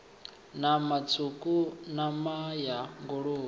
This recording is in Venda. nama tswuku nama ya nguluvhe